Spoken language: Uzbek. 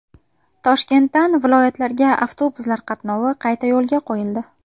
Toshkentdan viloyatlarga avtobuslar qatnovi qayta yo‘lga qo‘yildi.